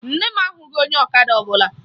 Nne m ahụghị onye ọkada ọbụla